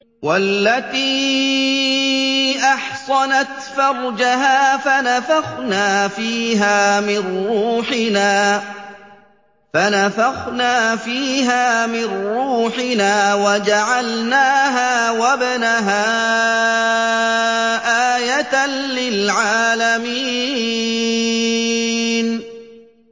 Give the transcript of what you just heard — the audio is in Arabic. وَالَّتِي أَحْصَنَتْ فَرْجَهَا فَنَفَخْنَا فِيهَا مِن رُّوحِنَا وَجَعَلْنَاهَا وَابْنَهَا آيَةً لِّلْعَالَمِينَ